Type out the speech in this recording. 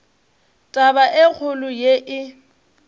taba e kgolo ye e